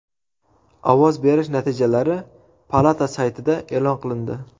Ovoz berish natijalari palata saytida e’lon qilindi.